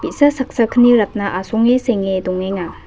bi·sa saksa kni ratna asonge senge dongenga.